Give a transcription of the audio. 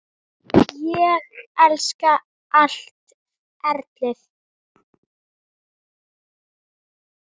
Ég elska allt ferlið.